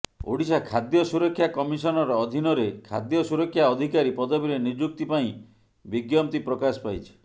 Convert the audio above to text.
ଓଡ଼ିଶା ଖାଦ୍ୟ ସୁରକ୍ଷା କମିଶନର୍ ଅଧିନରେ ଖାଦ୍ୟ ସୁରକ୍ଷା ଅଧିକାରୀ ପଦବୀରେ ନିଯୁକ୍ତି ପାଇଁ ବିଜ୍ଞପ୍ତି ପ୍ରକାଶ ପାଇଛି